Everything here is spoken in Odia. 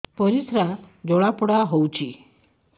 ପରିସ୍ରା ଜଳାପୋଡା ହଉଛି